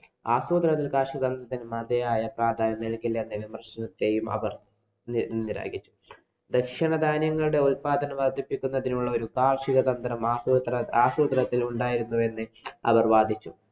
ആസൂത്രണത്തില്‍ കാര്‍ഷികതന്ത്രങ്ങള്‍ക്ക് മതിയായ പ്രാധാന്യം നല്‍കിയില്ലെങ്കില്‍ അവര്‍ ഭക്ഷണകാര്യങ്ങളുടെ ഉത്പാദനം വര്‍ദ്ധിപ്പിക്കുന്നതിനുള്ളൊരു കാര്‍ഷിക തന്ത്രം ആസൂത്ര~ ആസൂത്രണത്തില്‍ ഉണ്ടായിരുന്നുവെന്ന് അവര്‍ വാദിച്ചു.